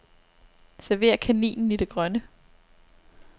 Server kaninen i det grønne.